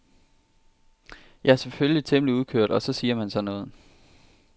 Jeg er selvfølgelig temmelig udkørt og så siger man sådan noget.